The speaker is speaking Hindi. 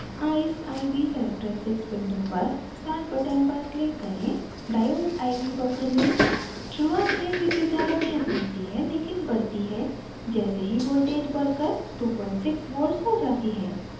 eyes: iv characteristics window पर start button पर click करें